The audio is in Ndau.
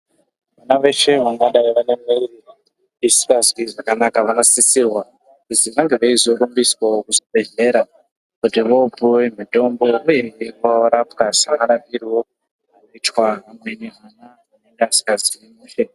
Na veshe vangadai vakabairwa vasikazwi zvakanaka vanosisirwa kuzi vange veizorumbiswawo kuzvibhedhlera kuti vopuwe mutombo uyehe kuti vorapwa semarapirwo anoita vamweni vana vanenga vasikazwi mushe.